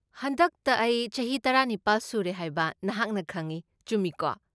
ꯍꯟꯗꯛꯇ ꯑꯩ ꯆꯍꯤ ꯇꯔꯥꯅꯤꯄꯥꯜ ꯁꯨꯔꯦ ꯍꯥꯏꯕ ꯅꯍꯥꯛꯅ ꯈꯪꯏ, ꯆꯨꯝꯃꯤꯀꯣ?